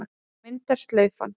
Þá myndast slaufan.